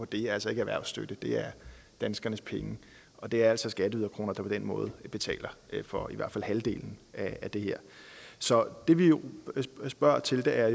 det er altså ikke erhvervsstøtte det er danskernes penge og det er altså skatteyderkroner der på den måde betaler for i hvert fald halvdelen af det her så det vi spørger til er